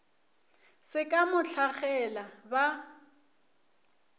se ka mo hlagela ba